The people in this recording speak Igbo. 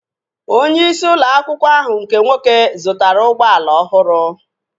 Onye isi ụlọ akwụkwọ ahụ nke nwoke zụtara ụgbọala ọhụrụ